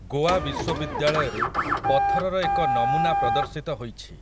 ଗୋଆ ବିଶ୍ୱବିଦ୍ୟାଳୟରେ ପଥରର ଏକ ନମୁନା ପ୍ରଦର୍ଶିତ ହୋଇଛି ।